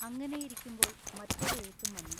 അങ്ങനെയിരിക്കുമ്പോൾ മറ്റൊരു എഴുത്തും വന്നു